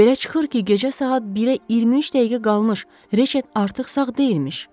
Belə çıxır ki, gecə saat 1-ə 23 dəqiqə qalmış Reşet artıq sağ deyilmiş.